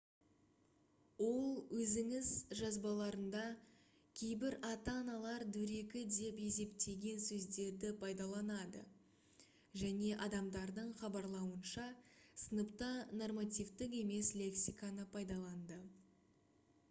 ол өзінің жазбаларында кейбір ата-аналар дөрекі деп есептеген сөздерді пайдаланды және адамдардың хабарлауынша сыныпта нормативтік емес лексиканы пайдаланды